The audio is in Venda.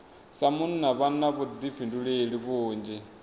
sa munna vha na vhuḓifhinduleli vhunzhi